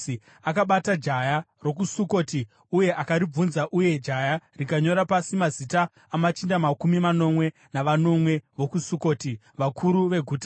Akabata jaya rokuSukoti uye akaribvunza, uye jaya rikanyora pasi mazita amachinda makumi manomwe navanomwe vokuSukoti, vakuru veguta.